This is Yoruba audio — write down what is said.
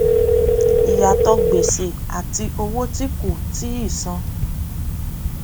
ìyàtò gbèsè àti owó tí kò tíì san